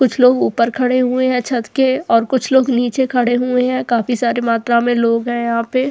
कुछ लोग ऊपर खड़े हुए हैं छत के और कुछ लोग नीचे खड़े हुए हैं काफी सारी मात्रा में लोग हैं यहाँ पे --